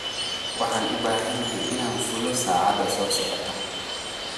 Waxaan u baahanahay inaan fuulo saacada soo socota